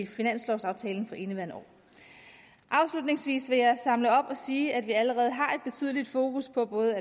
finanslovsaftalen for indeværende år afslutningsvis vil jeg samle op og sige at vi allerede har et betydeligt fokus på både